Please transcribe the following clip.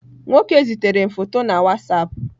Nwoke zitere m foto na WhatsApp.